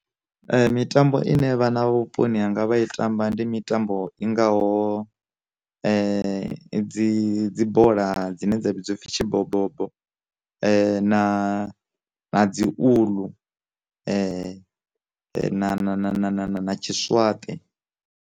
Mitambo ine vha na vhuponi hanga vha i tamba, ndi mitambo i ngaho dzi dzi dzi bola dzine dza vhidziwa upfi tshi bobobo, na na dzi uḽu, na na na na na tshi swaṱe.